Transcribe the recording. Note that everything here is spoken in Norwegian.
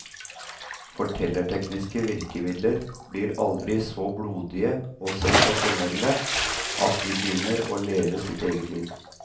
Fortellertekniske virkemidler blir aldri så blodige og sensasjonelle at de begynner å leve sitt eget liv.